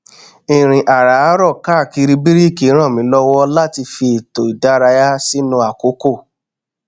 ìrìn àràárọ káàkiri bíríkì ràn mí lọwọ láti fi ètò ìdárayá mi sínú àkókò